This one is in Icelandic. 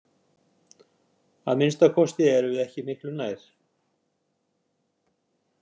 Að minnsta kosti erum við ekki miklu nær.